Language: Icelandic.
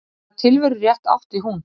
Hvaða tilverurétt átti hún?